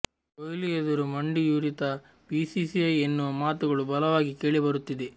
ಕೊಹ್ಲಿ ಎದುರು ಮಂಡಿಯೂರಿತಾ ಬಿಸಿಸಿಐ ಎನ್ನುವ ಮಾತುಗಳು ಬಲವಾಗಿ ಕೇಳಿ ಬರುತ್ತಿದೆ